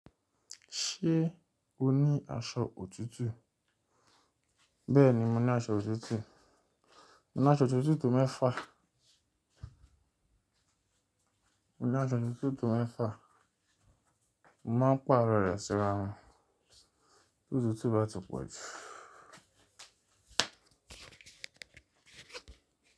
Ṣé o ní aṣọ òtútù? Bẹ́ẹ̀ni, mo ní aṣọ òtútù. Mo ní aṣọ òtútù mẹ́fà. Mo ní aṣọ òtútù mẹ́fà. Mo máa n pàrọ̀ rẹ̀ síra won. To tutu ba ti po ju.